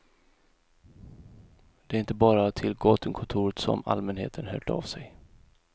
Det är inte bara till gatukontoret som allmänheten hört av sig.